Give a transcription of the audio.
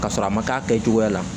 K'a sɔrɔ a ma k'a kɛcogoya la